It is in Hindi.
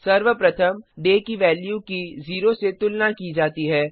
सर्वप्रथम डे की वैल्यू की 0 से तुलना की जाती है